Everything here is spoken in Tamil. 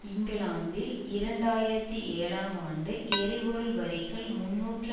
இங்கிலாந்தில் இரண்டு ஆயிரத்தி ஏழாம் ஆண்டு எரிபொருள் வரிகள் முன்னூற்று